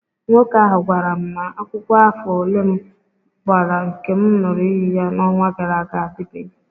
Nwoke ahụ gwara m na akwụkwọ afọ ole m gbara nke m ṅụrụ iyi ya n'ọnwa gara aga adịbeghị